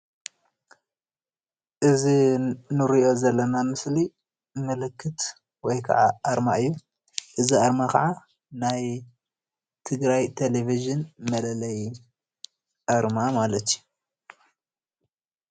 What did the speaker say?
እዚ እንርእዮ ዘለና ምስሊ ምልክት ወይከዓ ኣርማ እዩ። እዚ ኣርማ ከዓ ናይ ትግራይ ቴለቪዥን መለለዪ ኣርማ ማለት እዩ።